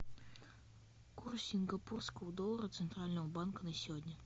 курс сингапурского доллара центрального банка на сегодня